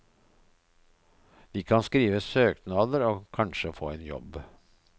De kan skrive søknader og kanskje få en jobb.